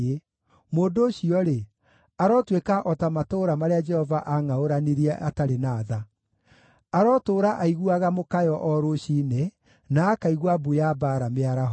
Mũndũ ũcio-rĩ, arotuĩka o ta matũũra marĩa Jehova aangʼaũranirie atarĩ na tha. Arotũũra aiguaga mũkayo o rũciinĩ, na akaigua mbu ya mbaara mĩaraho.